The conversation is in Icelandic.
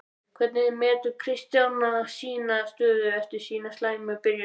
Hvernig metur Kristján sína stöðu eftir þessa slæmu byrjun?